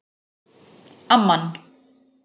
Amman